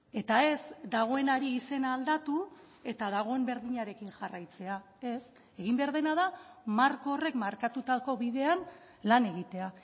eta ez dagoenari izena aldatu eta dagoen berdinarekin jarraitzea ez egin behar dena da marko horrek markatutako bidean lan egitea